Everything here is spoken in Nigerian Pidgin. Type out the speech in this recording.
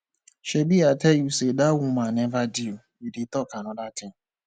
shebi i tell you say dat woman never due you dey talk another thing